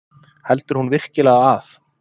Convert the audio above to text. Heldur hún virkilega að